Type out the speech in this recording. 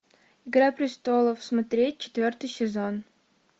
игра престолов смотреть четвертый сезон